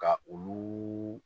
Ka ulu